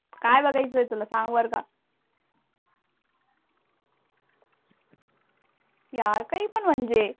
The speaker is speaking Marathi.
काय बघायचं तुला सांग बर का. यार काही पण म्हणजे.